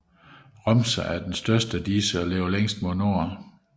Romsa er den største af disse og ligger længst mod nord